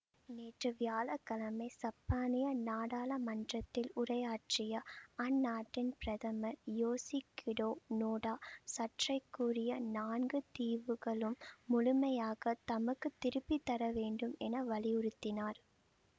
நேற்று வியாழ கிழமை சப்பானிய நாடாளமன்றத்தில் உரையாற்றிய அந்நாட்டின் பிரதமர் யோசிகிடோ நோடா சர்ச்சைக்குரிய நான்கு தீவுகளும் முழுமையாக தமக்கு திருப்பி தரப்பட வேண்டும் என வலியுறுத்தினார்